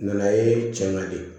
Nana ye cɛ kan de